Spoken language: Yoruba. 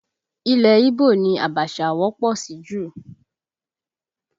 Ilẹ̀ ígbò ni Abacha wọ́pọ̀ sí jù